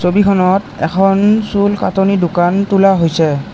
ছবিখনত এখন চুল কাটনি দোকান তোলা হৈছে।